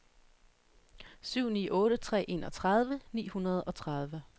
syv ni otte tre enogtredive ni hundrede og tredive